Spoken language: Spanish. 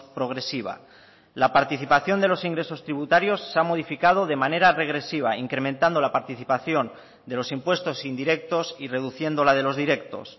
progresiva la participación de los ingresos tributarios se ha modificado de manera regresiva incrementando la participación de los impuestos indirectos y reduciendo la de los directos